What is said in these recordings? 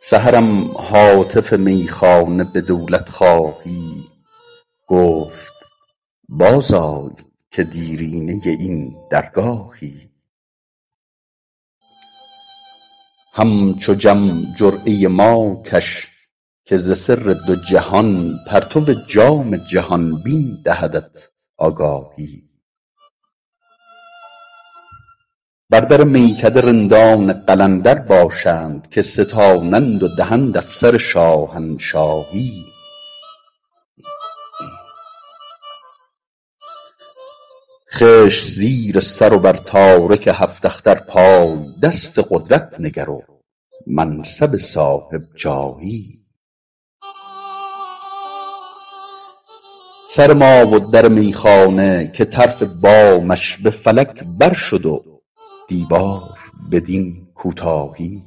سحرم هاتف میخانه به دولت خواهی گفت باز آی که دیرینه این درگاهی همچو جم جرعه ما کش که ز سر دو جهان پرتو جام جهان بین دهدت آگاهی بر در میکده رندان قلندر باشند که ستانند و دهند افسر شاهنشاهی خشت زیر سر و بر تارک هفت اختر پای دست قدرت نگر و منصب صاحب جاهی سر ما و در میخانه که طرف بامش به فلک بر شد و دیوار بدین کوتاهی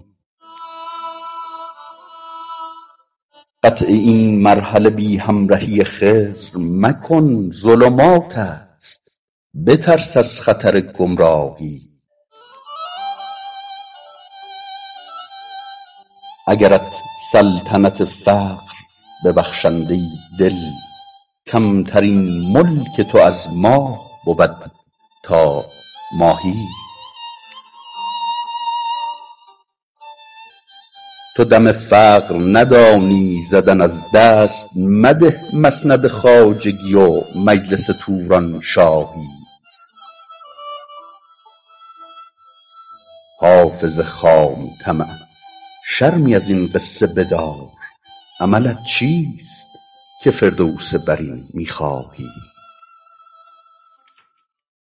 قطع این مرحله بی همرهی خضر مکن ظلمات است بترس از خطر گمراهی اگرت سلطنت فقر ببخشند ای دل کمترین ملک تو از ماه بود تا ماهی تو دم فقر ندانی زدن از دست مده مسند خواجگی و مجلس تورانشاهی حافظ خام طمع شرمی از این قصه بدار عملت چیست که فردوس برین می خواهی